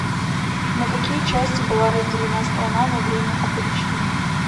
на какие части была разделена страна во время опричнины